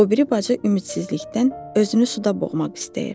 O biri bacı ümidsizlikdən özünü suda boğmaq istəyir.